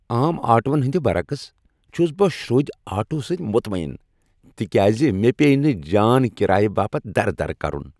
عام آٹوہن ہندِ برعکس ، چُھس بہٕ شروٚدۍ آٹوہو سٕتۍ مطمعن تكیازِ مےٚ پییہِ نہٕ جان کرایہ باپت درٕ درٕ كرُن۔